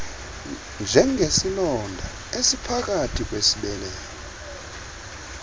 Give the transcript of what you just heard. njengesilonda esingaphakathi kwisibeleko